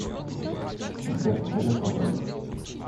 сбер тебе легко говорить